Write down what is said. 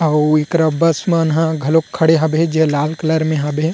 अऊ एकरा बस मन ह घलोक खड़े हवे जे लला कलर में हवे।